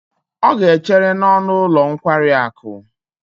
Ọ ga-echere n'ọnụ ụlọ nkwari akụ.